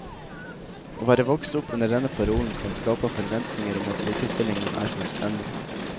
Å være vokst opp under denne parolen kan skape forventninger om at likestillingen er fullstendig.